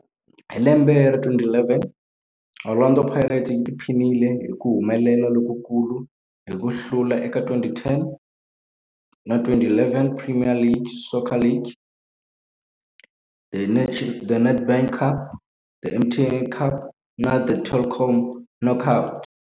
Hi lembe ra 2011, Orlando Pirates yi tiphinile hi ku humelela lokukulu hi ku hlula eka 2010-11 Premier Soccer League, The Nedbank Cup, The MTN 8 Cup na The Telkom Knockout.